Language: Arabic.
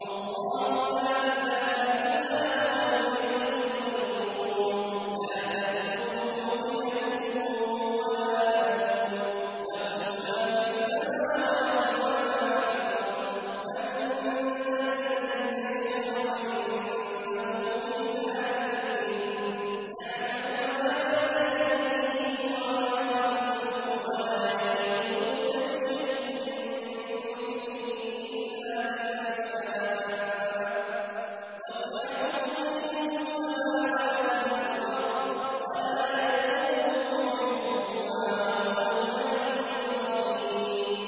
اللَّهُ لَا إِلَٰهَ إِلَّا هُوَ الْحَيُّ الْقَيُّومُ ۚ لَا تَأْخُذُهُ سِنَةٌ وَلَا نَوْمٌ ۚ لَّهُ مَا فِي السَّمَاوَاتِ وَمَا فِي الْأَرْضِ ۗ مَن ذَا الَّذِي يَشْفَعُ عِندَهُ إِلَّا بِإِذْنِهِ ۚ يَعْلَمُ مَا بَيْنَ أَيْدِيهِمْ وَمَا خَلْفَهُمْ ۖ وَلَا يُحِيطُونَ بِشَيْءٍ مِّنْ عِلْمِهِ إِلَّا بِمَا شَاءَ ۚ وَسِعَ كُرْسِيُّهُ السَّمَاوَاتِ وَالْأَرْضَ ۖ وَلَا يَئُودُهُ حِفْظُهُمَا ۚ وَهُوَ الْعَلِيُّ الْعَظِيمُ